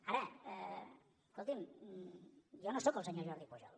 ara escoltin jo no sóc el senyor jordi pujol